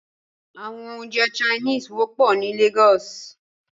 Àwọn oúnjẹ Chinese wọ́pọ̀ ní Lagos